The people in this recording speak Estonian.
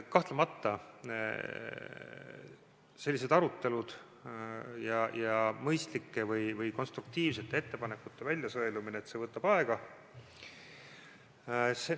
Kahtlemata, selline arutelu, mõistlike ja konstruktiivsete ettepanekute väljasõelumine võtab aega.